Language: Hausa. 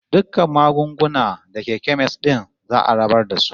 Dukkan magunguna da ke kemis din za'a rabar da su.